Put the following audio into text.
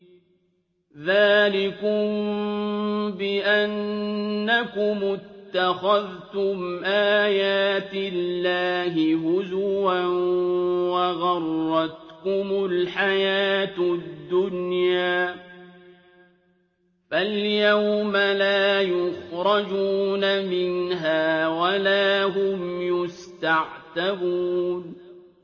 ذَٰلِكُم بِأَنَّكُمُ اتَّخَذْتُمْ آيَاتِ اللَّهِ هُزُوًا وَغَرَّتْكُمُ الْحَيَاةُ الدُّنْيَا ۚ فَالْيَوْمَ لَا يُخْرَجُونَ مِنْهَا وَلَا هُمْ يُسْتَعْتَبُونَ